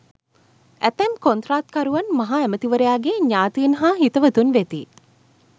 ඇතැම් කොන්ත්‍රාත්කරුවන් මහ ඇමතිවරයාගේ ඥාතීන් හා හිතවතුන් වෙති.